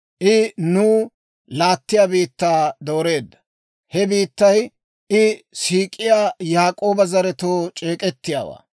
I nuw laattiyaa biittaa dooreedda; he biittay, I siik'iyaa Yaak'ooba zaratuu c'eek'ettiyaawaa.